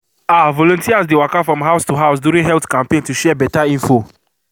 ah volunteers dey waka from house to house during health campaign to share better info.